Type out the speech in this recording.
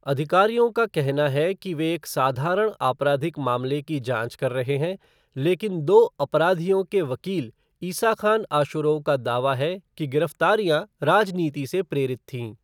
अधिकारियों का कहना है कि वे एक साधारण आपराधिक मामले की जाँच कर रहे हैं, लेकिन दो 'अपराधियों' के वकील इसाख़ान आशुरोव का दावा है कि गिरफ़्तारियाँ राजनीति से प्रेरित थीं।